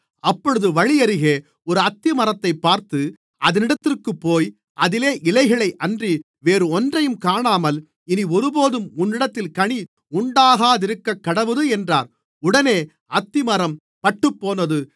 அப்பொழுது வழியருகே ஒரு அத்திமரத்தைப் பார்த்து அதினிடத்திற்குப்போய் அதிலே இலைகளையன்றி வேறொன்றையும் காணாமல் இனி ஒருபோதும் உன்னிடத்தில் கனி உண்டாகாதிருக்கக்கடவது என்றார் உடனே அத்திமரம் பட்டுப்போனது